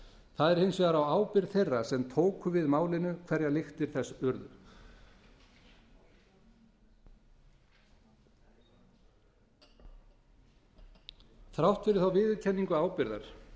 það er hins vegar á ábyrgð þeirra sem tóku við málinu hverjar lyktir þess urðu þrátt fyrir þá viðurkenningu ábyrgðar